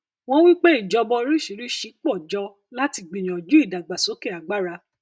wọn wí pé ìjọba oríṣìíríṣìí pọ jọ láti gbìyànjú ìdàgbàsókè agbára